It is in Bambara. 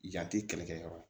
Yan tɛ kɛlɛkɛ yɔrɔ la